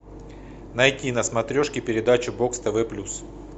найти на смотрешке передачу бокс тв плюс